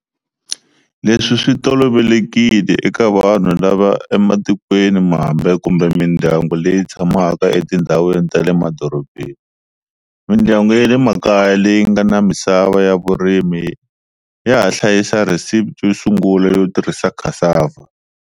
Leswi swi tolovelekile eka vanhu lava ematikweni mambe kumbe mindyangu leyi tshamaka etindhawini ta le madorobeni. Mindyangu yale makaya leyingana misava ya vurimi yaha hlayisa recipe yosungula yo tirhisa cassava.